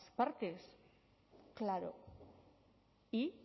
partes claro y